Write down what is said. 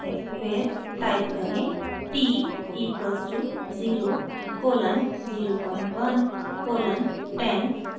फिर टाइप करें t equals to 0 colon 01 colon 10 semicolon